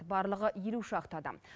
барлығы елу шақты адам